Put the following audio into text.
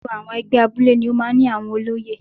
Gbogbo àwọn ẹgbẹ́ abúlé ni ó máa ń ní àwọn olóyè.